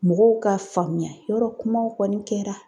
Mɔgɔw k'a faamuya yɔrɔ kumaw kɔni kɛra.